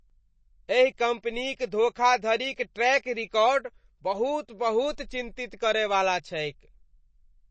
एहि कम्पनीक धोखाधड़ीक ट्रैक रिकॉर्ड बहुत बहुत चिंतित करय वाला छैक।